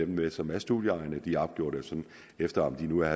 med som er studieegnede de er opgjort efter om de nu er